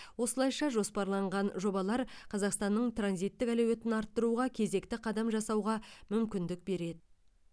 осылайша жоспарланған жобалар қазақстанның транзиттік әлеуетін арттыруға кезекті қадам жасауға мүмкіндік береді